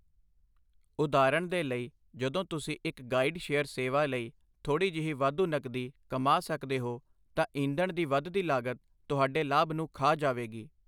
ਉਦਾਹਰਣ ਦੇ ਲਈ ਜਦੋਂ ਤੁਸੀਂ ਇੱਕ ਗਾਈਡ ਸ਼ੇਅਰ ਸੇਵਾ ਲਈ ਥੋੜ੍ਹੀ ਜਿਹੀ ਵਾਧੂ ਨਕਦੀ ਕਮਾ ਸਕਦੇ ਹੋ, ਤਾਂ ਈਂਧਣ ਦੀ ਵੱਧਦੀ ਲਾਗਤ ਤੁਹਾਡੇ ਲਾਭ ਨੂੰ ਖਾ ਜਾਵੇਗੀ